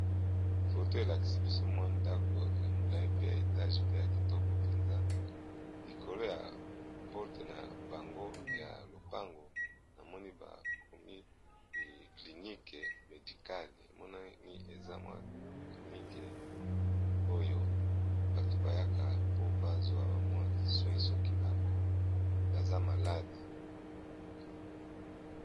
foto elakisi biso mwa ndako ya molai pe ya etage pe ya kitoko mpenza likolo ya porte na bango ya lopango na moni bakomi klinike medikale emonani eza mwa klinike oyo bato bayaka po bazwa bamwa soi soki baza malade